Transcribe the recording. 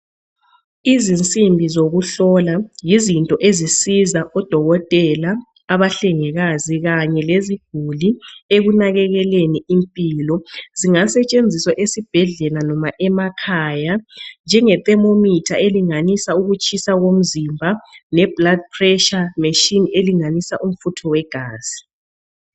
Izinsimbi zokuhlola yizinto ezisiza odokotela abahlengikazi kanye leziguli ekunakekeleni impilo zingasetshenziswa esibhedlela noma emakhaya njenge "thermometer" elinganisa ukutshisa komzimba le "blood pressure machine" elinganisa umfutho wegazi.